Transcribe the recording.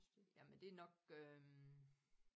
Jamen det nok øh